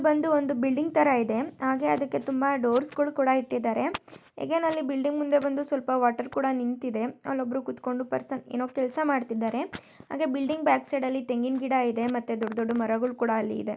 ಇದು ಬಂದು ಬಿಲ್ಡಿಂಗ್ ತರ ಇದೆ ಹಾಗೆ ಅದಕ್ಕೆ ತುಂಬಾ ಡೋರ್ಸ್ ಗಳು ಕೂಡ ಇಟ್ಟಿದ್ದಾರೆ ಎಗೇನ್ ಅಲ್ಲಿ ಬಿಲ್ಡಿಂಗ್ ಮುಂದೆ ಬಂದು ವಾಟರ್ ಕೂಡ ನಿಂತಿದೆ ಅಲ್ಲಿ ಒಬ್ಬರು ಕೂತುಕೊಂಡು ಪರ್ಸನ್ ಏನೋ ಕೆಲಸ ಮಾಡುತ್ತಿದ್ದಾರೆ ಹಾಗೆ ಬಿಲ್ಡಿಂಗ್ ಬ್ಯಾಕ್ ಸೈಡ್ ಅಲ್ಲಿ ತೆಂಗಿನ ಗಿಡ ಇದೇ ಮತ್ತೆ ದೊಡ್ಡ ದೊಡ್ಡ ಮರಗಳು ಕೂಡ ಇದೇ